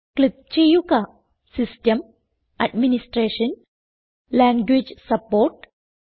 click ചെയ്യുക system administration language support